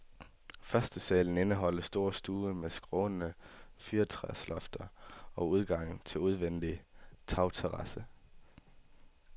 Førstesalen indeholder stor stue med skrånende fyrretræslofter og udgang til udvendig tagterrasse.